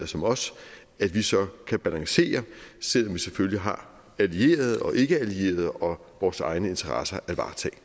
som os at vi så kan balancere selv om vi selvfølgelig har allierede og ikkeallierede og vores egne interesser at